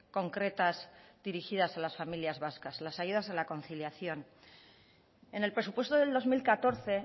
concretas dirigidas a las familias vascas las ayudas a la conciliación en el presupuesto del dos mil catorce